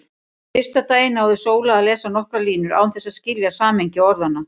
Fyrsta daginn náði Sóla að lesa nokkrar línur án þess að skilja samhengi orðanna.